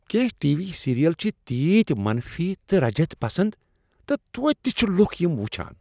کینٛہہ T V serial چھ تیٖتۍ منفی تہٕ رجعت پسند تہٕ توتہٕ تہ چھ لکھ یم وچھان۔